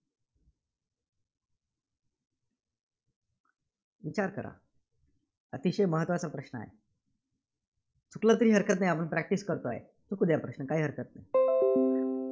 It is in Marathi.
विचार करा. अतिशय महत्त्वाचा प्रश्न आहे. चुकलं तरी हरकत नाही. आपण practice करतोय. चुकू द्या प्रश्न, काही हरकत नाही,